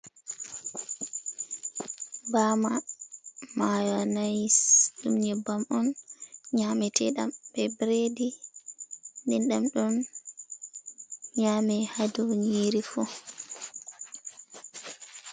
Bama mayonais ,dum nyeɓɓam on nyamitedam be bredi, dendam dum nyame hadow nyiiri fuh.